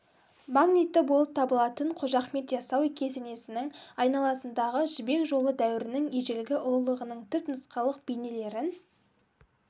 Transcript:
магниті болып табылатын қожа ахмет ясауи кесенесінің айналасындағы жібек жолы дәуірінің ежелгі ұлылығының түпнұсқалық бейнелерін